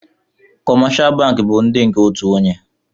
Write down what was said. kọmáshá bankị bu nke ndị òtù ònyè